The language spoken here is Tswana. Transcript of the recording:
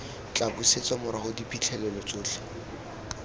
tla busetsa morago diphitlhelelo tsotlhe